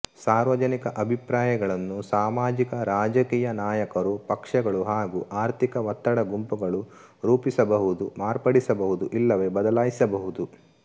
ಸಾರ್ವಜನಿಕ ಅಭಿಪ್ರಾಯಗಳನ್ನು ಸಾಮಾಜಿಕ ರಾಜಕೀಯ ನಾಯಕರು ಪಕ್ಷಗಳು ಹಾಗೂ ಆರ್ಥಿಕ ಒತ್ತಡ ಗುಂಪುಗಳು ರೂಪಿಸಬಹುದು ಮಾರ್ಪಡಿಸಬಹುದು ಇಲ್ಲವೇ ಬದಲಾಯಿಸಬಹುದು